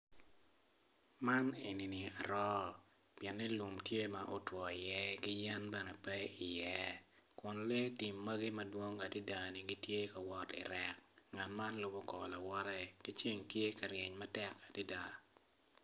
Man enini aroo pien lum tye ma otwii iye dok yadi peye kun lee tim magi tye ka wot i rek ngat man lubo kor lawote ceng tye ka ryeny matek adada.